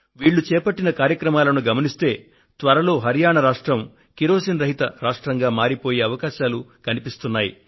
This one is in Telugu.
వీళ్లు చేపట్టిన కార్యక్రమాలను గమనిస్తే త్వరలో హరియాణా రాష్ట్రం కిరోసిన్ రహిత రాష్ట్రంగా మారిపోయే అవకాశాలు కనిపిస్తున్నాయి